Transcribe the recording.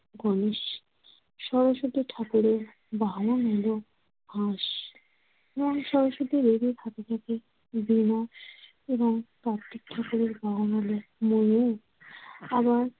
গণেশ। সরস্বতী ঠাকুরের বাহন হলো হাঁস এবং সরস্বতীর এ দুই হাতে থাকে বীণা এবং কার্তিকা ঠাকুরের বাহন হলো ময়ূর। আবার